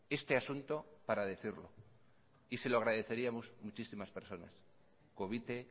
este asunto para decirlo y se lo agradeceríamos muchísimas personas covite